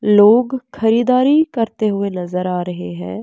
लोग खरीदारी करते हुए नज़र आ रहे हैं।